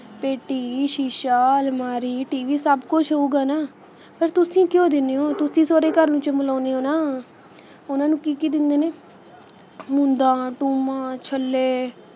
ਪੇਟੀ ਸ਼ੀਸ਼ਾ ਅਲਮਾਰੀ tv ਸਭ ਕੁੱਛ ਹੋਊਗਾ ਨਾ ਪਰ ਤੁਸੀ ਕਿਉਂ ਦਿੰਦੇ ਹੋ ਤੁਸੀ ਸਹੁਰੇ ਘਰ ਨੂੰ ਚਮਲਾਉਂਦੇ ਹੋ ਨਾ ਉਹਨਾਂ ਨੂੰ ਕੀ ਕੀ ਦਿੰਦੇ ਨੇ ਮੁੰਦਾਂ ਟੂੰਬਾਂ, ਛੱਲੇ,